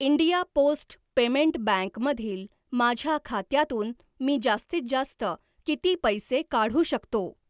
India post payment bank मधील माझ्या खात्यातून मी जास्तीत जास्त किती पैसे काढू शकतो?